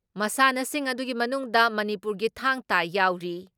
ꯃꯁꯥꯟꯅꯁꯤꯡ ꯑꯗꯨꯒꯤ ꯃꯅꯨꯡꯗ ꯃꯅꯤꯄꯨꯔꯒꯤ ꯊꯥꯡꯇꯥ ꯌꯥꯎꯔꯤ ꯫